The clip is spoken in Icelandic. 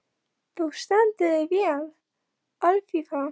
Þú stendur þig vel, Alfífa!